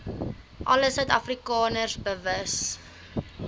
alle suidafrikaners bewus